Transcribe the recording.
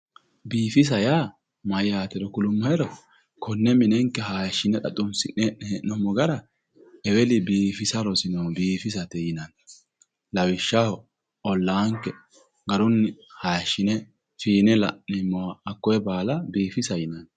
biifisa yaa mayyatero kulummohero konne minenke hayiishshine xa xunsine hoo'noonni gara eweli biifisa rosino biifisate yinanni lawishshaho ollaanke garunni hayiishshine fiine la'neemmowa hakkoye baala biifisa yinanni.